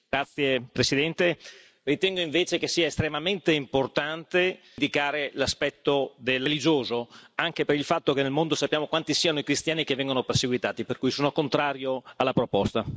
Signor Presidente, onorevoli colleghi, ritengo invece che sia estremamente importante indicare l'aspetto religioso, anche per il fatto che nel mondo sappiamo quanti siano i cristiani che vengono perseguitati, per cui sono contrario alla proposta.